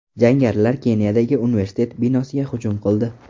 Jangarilar Keniyadagi universitet binosiga hujum qildi.